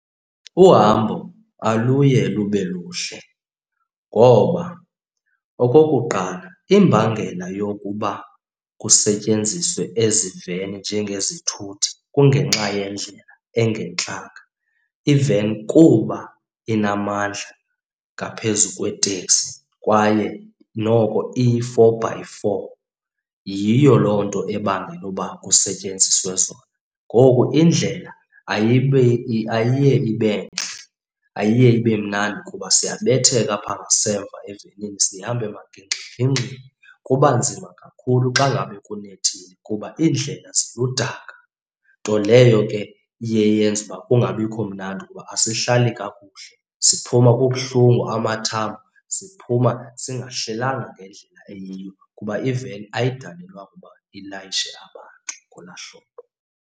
Uhambo aluye lube luhle ngoba okokuqala, imbangela yokuba kusetyenziswe eziveni njengezithuthi kungenxa yendlela engantlanga. Iveni kuba inamandla ngaphezu kwetekisi kwaye noko iyi-four-by-four, yiyo loo nto ebangela uba kusetyenziswe zona. Ngoku indlela ayiye ayiye ibe ntle, ayiye ibe mnandi kuba siyabetheka apha ngasemva evenini, sihamba emagingxigingxini. Kuba nzima kakhulu xa ngabe kunethile kuba iindlela ziludaka, nto leyo ke iye yenza uba kungabikho mnandi kuba asihlali kakuhle, siphuma kubuhlungu amathambo,. Siphuma singahlelanga ngendlela eyiyo kuba iveni ayidalelwanga uba ilayishe abantu ngolaa hlobo.